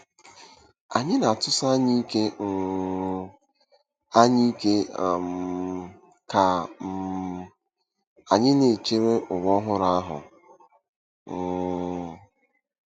Anyị na-atụsi anya ike um anya ike um ka um anyị na-echere ụwa ọhụrụ ahụ. um